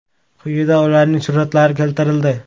Quyida ularning suratlari keltirildi.